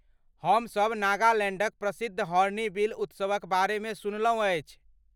हमसभ नागालैण्डक प्रसिद्ध हॉर्नबिल उत्सवक बारेमे सुनलहुँ अछि।